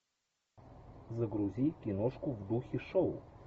загрузи киношку в духе шоу